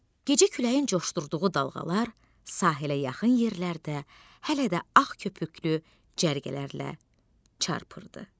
Gecə küləyin coşdurduğu dalğalar sahilə yaxın yerlərdə hələ də ağ köpüklü cərgələrlə çarpırdı.